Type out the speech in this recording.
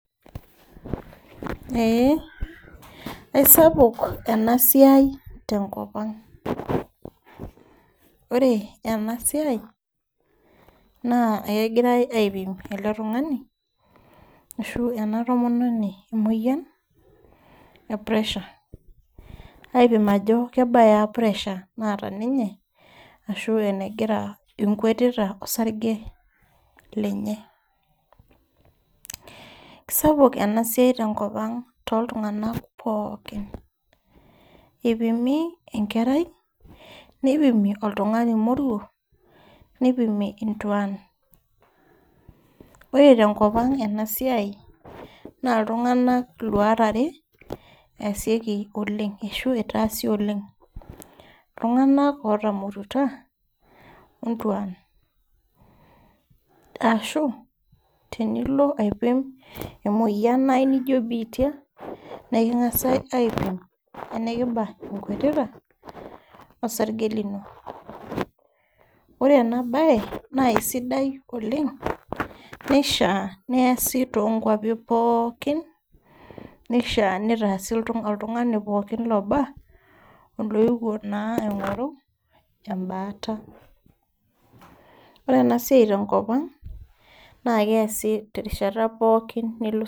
We aisapuk ena siai tenkop ang ore ena siai ekegirai aipim ele tung'ani ashu ena tomononi emoyian ee pressure aing'uraa ajoo kebaa pressure naata ninye ashu enkwetita osarge lenye kisapuk enasiai tenkop ang too iltung'ana pookin eipimi enkerai nipimi oltung'ani moruo nipimi entuan ore tenkop ang ena siai naa iltung'ana luat arewotase ena siai oleng iltung'ana otamorutua oontuan ashu tenilo aipim emoyian naijio bitia niking'as aipim enikibaa ekwetita osarge lino ore ena mbae naa sidai oleng nishaa neese too nkwapii pookin nishaa nitaase oltung'ani pookin looba oloyewuo naa aing'oru ebaata ore siai tenkop ang naa keesi terishata pookin